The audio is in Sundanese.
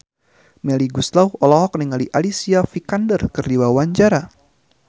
Melly Goeslaw olohok ningali Alicia Vikander keur diwawancara